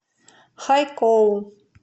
хайкоу